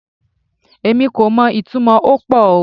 Èmi kò mo ìtumò okpo o